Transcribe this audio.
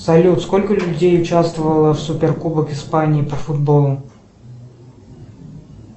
салют сколько людей участвовало в суперкубок испании по футболу